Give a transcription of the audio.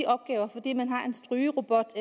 opgaver fordi man har en strygerobot